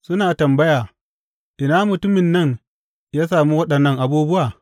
Suna tambaya, Ina mutumin nan ya sami waɗannan abubuwa?